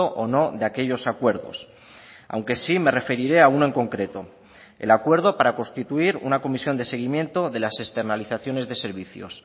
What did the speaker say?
o no de aquellos acuerdos aunque sí me referiré a uno en concreto el acuerdo para constituir una comisión de seguimiento de las externalizaciones de servicios